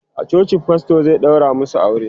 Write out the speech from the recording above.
a coci pastor zai ɗaura masu aure